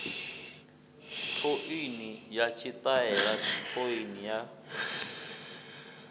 thouni na tshitaela thouni na